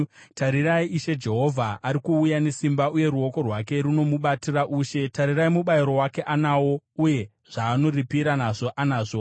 Tarirai, Ishe Jehovha ari kuuya nesimba, uye ruoko rwake runomubatira ushe. Tarirai, mubayiro wake anawo, uye zvaanoripira nazvo anazvo.